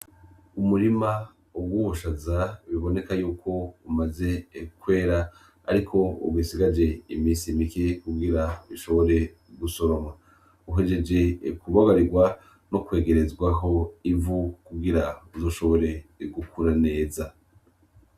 Umurima uguhushaza biboneka yuko umaze ekwera, ariko ugisigaje imisi imiki kugira bishobore gusoroma uhejeje ekubagarirwa no kwegerezwaho ivu kugira uzoshobore igukura neza.